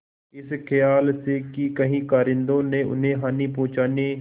इस खयाल से कि कहीं कारिंदों ने उन्हें हानि पहुँचाने